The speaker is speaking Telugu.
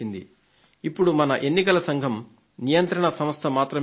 ఇప్పుడు మన ఎన్నికల సంఘం నియంత్రణ సంస్థ మాత్రమే కాదు